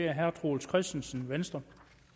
herre troels christensen venstre